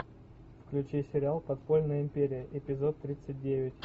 включи сериал подпольная империя эпизод тридцать девять